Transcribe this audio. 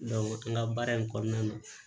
an ka baara in kɔnɔna na